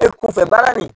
E kunfɛ baara ni